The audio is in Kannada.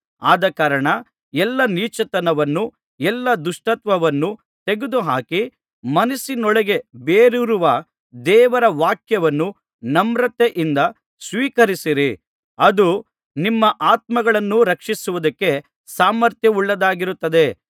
ಆದಕಾರಣ ಎಲ್ಲಾ ನೀಚತನವನ್ನೂ ಎಲ್ಲಾ ದುಷ್ಟತನವನ್ನೂ ತೆಗೆದುಹಾಕಿ ಮನಸ್ಸಿನೊಳಗೆ ಬೇರೂರಿರುವ ದೇವರ ವಾಕ್ಯವನ್ನು ನಮ್ರತೆಯಿಂದ ಸ್ವೀಕರಿಸಿರಿ ಅದು ನಿಮ್ಮ ಆತ್ಮಗಳನ್ನು ರಕ್ಷಿಸುವುದಕ್ಕೆ ಸಾಮರ್ಥ್ಯವುಳ್ಳದ್ದಾಗಿರುತ್ತದೆ